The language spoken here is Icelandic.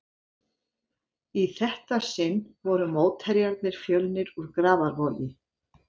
Í þetta sinn voru mótherjarnir Fjölnir úr Grafarvogi.